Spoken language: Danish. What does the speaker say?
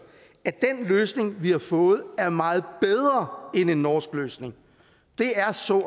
at den løsning vi har fået er meget bedre end en norsk løsning det er så